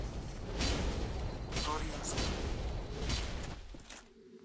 туринском